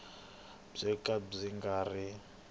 byo ka byi nga ri